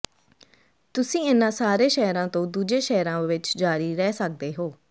ਤੁਸੀਂ ਇਨ੍ਹਾਂ ਸਾਰੇ ਸ਼ਹਿਰਾਂ ਤੋਂ ਦੂਜੇ ਸ਼ਹਿਰਾਂ ਵਿੱਚ ਜਾਰੀ ਰਹਿ ਸਕਦੇ ਹੋ